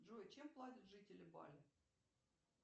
джой чем платят жители бали